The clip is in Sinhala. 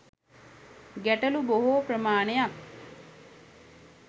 ගැටළු බොහෝ ප්‍රමාණයක්